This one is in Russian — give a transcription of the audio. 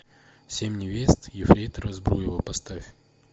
семь невест ефрейтора збруева поставь